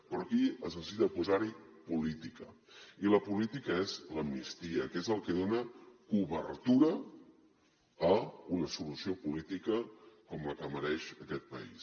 però aquí es necessita posar hi política i la política és l’amnistia que és el que dona cobertura a una solució política com la que mereix aquest país